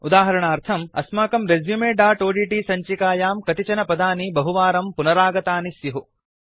उदाहरणार्थम् अस्माकं resumeओड्ट् सञ्चिकायां कतिचन पदानि बहुवारं पुनरागतानि स्युः